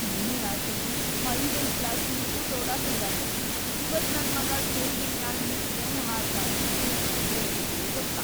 ನಿನ್ನೆ ರಾತ್ರಿ‌ ಐದೈದ್‌ ಗ್ಲಾಸ್‌ ಲಿಂಬು ಸೋಡಾ ಕುಡ್ದಾನ, ಇವತ್ ನನ್‌ ಮಗಾ ಸ್ಟೇಜಿನ್‌ ಮ್ಯಾಲ್‌ ನಿಂತ್‌ ಹೆಂಗ ಹಾಡ್ತಾನೋ ಏನೋ ದೇವ್ರಿಗೇ ಗೊತ್ತ.